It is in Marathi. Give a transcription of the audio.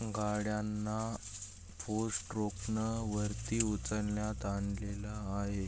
गाड्याना फोर्स स्ट्रोक् न वरती उचलण्यात आणलेल आहे.